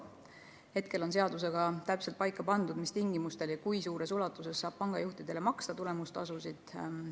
Hetkel on seadusega täpselt paika pandud, mis tingimustel ja kui suures ulatuses saab pangajuhtidele tulemustasusid maksta.